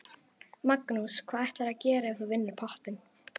Magnús: Hvað ætlarðu að gera ef þú vinnur pottinn?